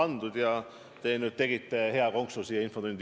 Te lisasite nüüd hea konksu siia infotundi.